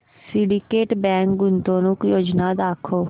Syndicate Bank गुंतवणूक योजना दाखव